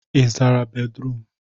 Ị zara bédrụum?